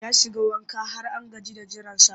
Ya shiga wanka har an gaji da jiransa